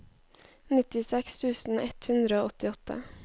nittiseks tusen ett hundre og åttiåtte